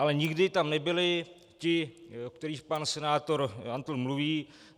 Ale nikdy tam nebyli ti, o kterých pan senátor Antl mluví.